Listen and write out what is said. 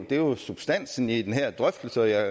det er jo substansen i den her drøftelse og jeg